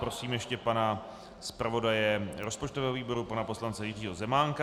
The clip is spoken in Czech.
Prosím ještě pana zpravodaje rozpočtového výboru pana poslance Jiřího Zemánka.